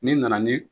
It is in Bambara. Ni nana ni